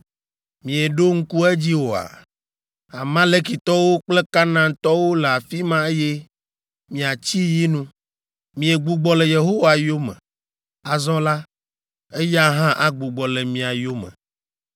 Mieɖo ŋku edzi oa? Amalekitɔwo kple Kanaantɔwo le afi ma eye miatsi yi nu! Miegbugbɔ le Yehowa yome. Azɔ la, eya hã agbugbɔ le mia yome.”